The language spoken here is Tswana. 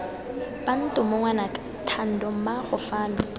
bantomo ngwanaka thando mmaago fano